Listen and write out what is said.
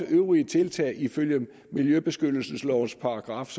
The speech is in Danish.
øvrige tiltag ifølge miljøbeskyttelseslovens §